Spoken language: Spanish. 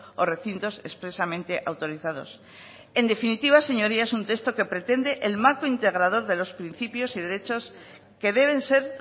o recintos expresamente autorizados en definitiva señorías un texto que pretende el marco integrador de los principios y derechos que deben ser